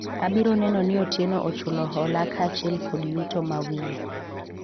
abiro neno ni Otieno ochulo hola kaachiel kod yuto mawiye